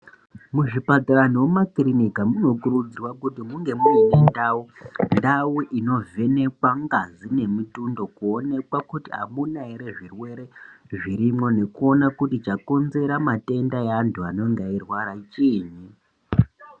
Muzvipatara nomumakirinika munokurudzirwa kuti munge muine ndau. Ndau inovhenekwa ngazi nemitundo kuonekwa kuti hamuna zvirwere zvirimwo, nekuona kuti chakonzera matenda eanthu anenga eirwara chiini.